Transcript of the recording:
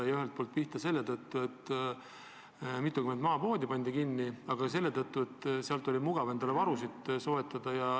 Seda ühelt poolt selle tõttu, et mitukümmend maapoodi on kinni pandud, aga ka selle tõttu, et Lätist on hea endale varusid soetada.